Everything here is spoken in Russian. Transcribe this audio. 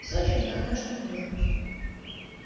в сочи отдохнёшь не хуже